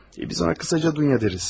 Biz ona qısaca Dunya deyərik.